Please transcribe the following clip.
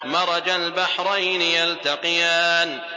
مَرَجَ الْبَحْرَيْنِ يَلْتَقِيَانِ